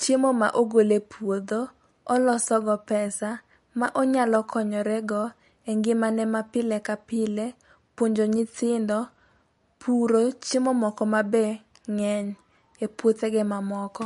chiemo ma ogol e puodho, olosogo pesa , ma onyalo konyorego e ngimane ma pile ka pile, puonjo nyithindo ,puro chiemo moko mabe ng'eny e puothege mamoko.